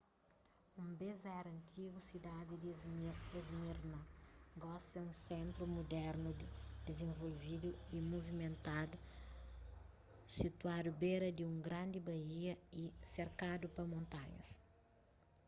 un bês éra antigu sidadi di esmirna gosi é un sentru mudernu dizenvolvidu y muvimentadu situadu bera di un grandi baía y serkadu pa montanhas